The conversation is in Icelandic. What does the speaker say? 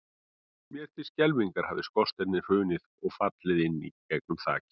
Mér til skelfingar hafði skorsteinninn hrunið og fallið inn í gegnum þakið.